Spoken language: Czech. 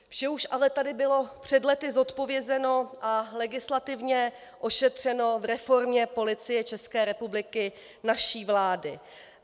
Vše už ale tady bylo před lety zodpovězeno a legislativně ošetřeno v reformě Policie České republiky naší vlády.